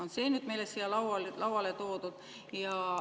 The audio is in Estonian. Nüüd on see meile siia lauale toodud.